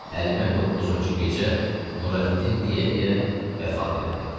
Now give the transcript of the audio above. Həlimə doqquzuncu gecə Nurəddin deyə-deyə vəfat elədi.